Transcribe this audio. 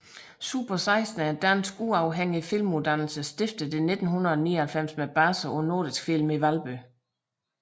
Super16 er en dansk uafhængig filmuddannelse stiftet i 1999 med base på Nordisk Film i Valby